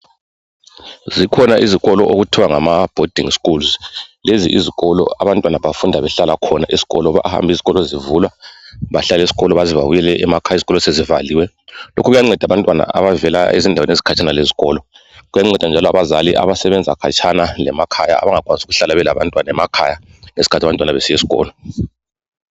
zikhona izikolo okuthiwa ngama bhodingi school lezi izikolo abantu bahlala khona bezebebuyele ezindlini izikolo sezivaliwe lokho kuyanceda abantwanaabahlala khatshana kwesikolo labadala abasebenza kude lasemakhaya